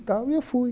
E tal, e eu fui.